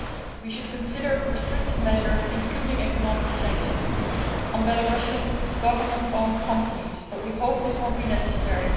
We should consider restrictive measures, including economic sanctions on Belarusian government owned companies, but we hope this will not be necessary.